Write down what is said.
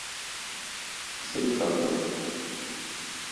салехарда